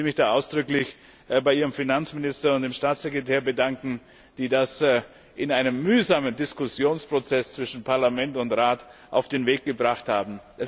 Ich will mich da ausdrücklich bei Ihrem Finanzminister und dem Staatssekretär bedanken, die das in einem mühsamen Diskussionsprozess zwischen Parlament und Rat auf den Weg gebracht haben.